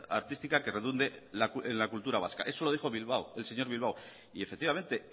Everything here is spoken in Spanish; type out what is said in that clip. artística que redunde en la cultura vasca eso lo dijo bilbao el señor bilbao y efectivamente